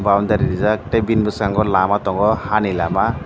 boundary rijak tei bini bwskango lama tongo hani lama.